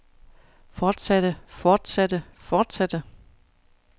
fortsatte fortsatte fortsatte